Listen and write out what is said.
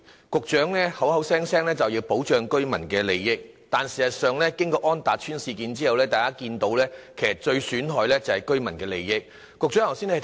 局長總是說要保障居民的利益，但事實上經過安達邨事件之後，大家看到其實居民的利益受到最大損害。